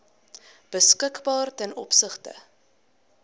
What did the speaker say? beskikbaar ten opsigte